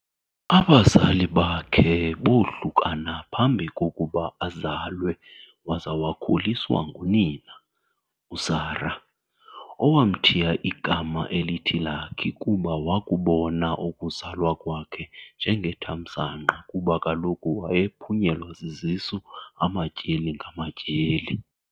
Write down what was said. Abazali bakhe boohlukana phambi kokuba azalwe waza wakhuliswa ngunina, uSarah, owamthiya igama elithi "Lucky" kuba wakubona ukuzalwa kwakhe njengethamsanqa kuba kaloku wayephunyelwa zizisu amatyeli ngamatyeli.